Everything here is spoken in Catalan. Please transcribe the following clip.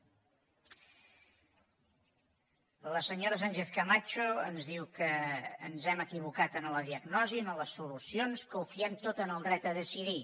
la senyora sánchez camacho ens diu que ens hem equivocat en la diagnosi en les solucions que ho fiem tot al dret a decidir